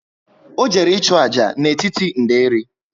O jere i chu ájá n'etiti nderi